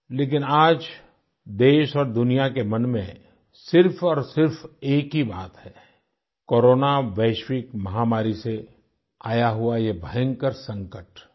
लेकिन आज देश और दुनिया के मन में सिर्फ और सिर्फ एक ही बात है कोरोना वैश्विक महामारी से आया हुआ ये भयंकर संकट